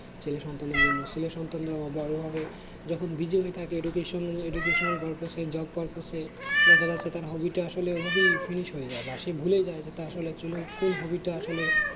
ছেলে সন্তানদের জন্য ছেলে সন্তানরা বড়ো হবে যখন busy হয়ে থাকে education~ educational purpose এ job purpose এ দেখা যাচ্ছে তার hobby টা আসলে এভাবেই finish হয়ে যায় বা সে ভুলে যায় যে তার আসলে actucally কোন hobby টা আসলে